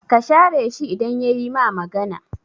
Ka share shi idan yayi ma magana